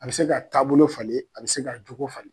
A bɛ se ka taabolo falen a bɛ se ka jogo falen.